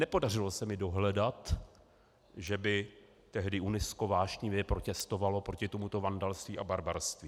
Nepodařilo se mi dohledat, že by tehdy UNESCO vášnivě protestovalo proti tomuto vandalství a barbarství.